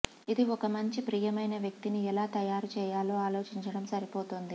ఇది ఒక మంచి ప్రియమైన వ్యక్తిని ఎలా తయారు చేయాలో ఆలోచించడం సరిపోతుంది